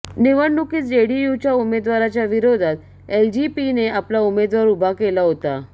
निवडणुकीत जेडीयूच्या उमेदवाराच्या विरोधात एलजेपीने आपला उमेदवार उभा केला होता